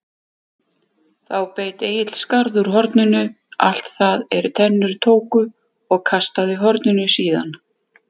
Þá beit Egill skarð úr horninu, allt það er tennur tóku, og kastaði horninu síðan.